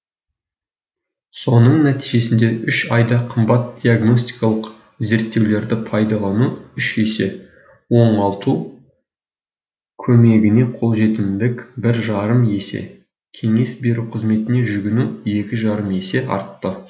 соның нәтижесінде үш айда қымбат диагностикалық зерттеулерді пайдалану үш есе оңалту көмегіне қолжетімділік бір жарым есе кеңес беру қызметіне жүгіну екі жарым есе артты